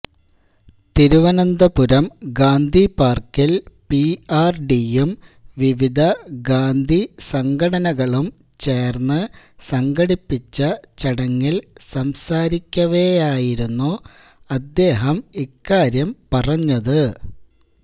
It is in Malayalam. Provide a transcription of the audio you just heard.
തിരുവനന്തപുരം ഗാന്ധിപാർക്കിൽ പിആർഡിയും വിവിധ ഗാന്ധി സംഘടനകളും ചേർന്ന് സംഘടിപ്പിച്ച ചടങ്ങിൽ സംസാരിക്കവേയായിരുന്നു അദ്ദേഹം ഇക്കാര്യം പറഞ്ഞത്